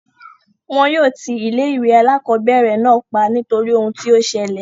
Wọn yóò ti ilé ìwé alákọ̀berẹ̀ náà pa nítorí ohun tí o ṣẹlẹ̀.